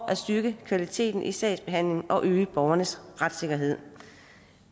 at styrke kvaliteten i sagsbehandlingen og øge borgernes retssikkerhed